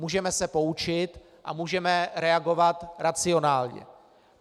Můžeme se poučit a můžeme reagovat racionálně.